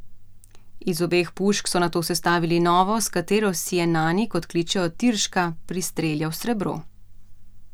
Iz obeh pušk so nato sestavili novo, s katero si je Nani, kot kličejo Tirška, pristreljal srebro.